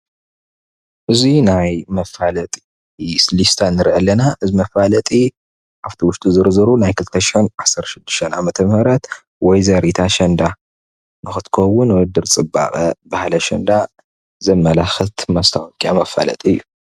እዚ ናይ መፋለጢ ሌስታ ንርእ ኣለና፡፡ መፋለጢ ኣብ እቲ ውሽጡ ዝርዝሩ ናይ 2016 ዓ/ም ወዘሪት ኣሸንዳ ንኽትከውን ዉድድር ፅባቐ ባህሊ ኣሸንዳ ዘመላክት መስታወቅያ መፋለጢ እዩ፡፡